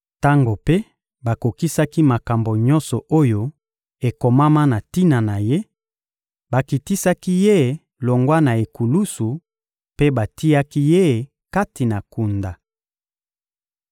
Tango mpe bakokisaki makambo nyonso oyo ekomama na tina na Ye, bakitisaki Ye longwa na ekulusu mpe batiaki Ye kati na kunda.